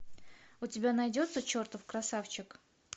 у тебя найдется чертов красавчик